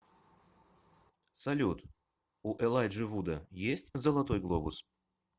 салют у элайджи вуда есть золотой глобус